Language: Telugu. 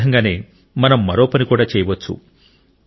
ఆ విధంగానే మనం మరో పని కూడా చేయవచ్చు